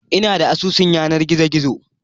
Ina da asusun yanar gizo gizo